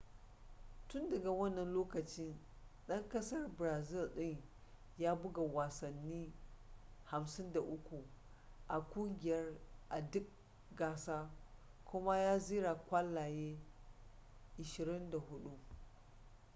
tun daga wannan lokacin dan kasar brazil din ya buga wasanni 53 a kungiyar a duk gasa kuma ya zira kwallaye 24